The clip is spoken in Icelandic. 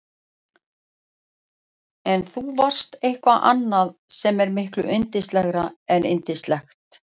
En þú varst eitthvað annað sem er miklu yndislegra en yndislegt.